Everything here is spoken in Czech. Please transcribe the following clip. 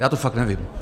Já to fakt nevím.